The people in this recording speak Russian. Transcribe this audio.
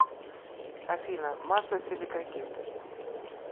афина масса силикагель